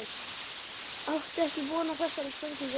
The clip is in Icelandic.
Átti ekki von á þessari spurningu.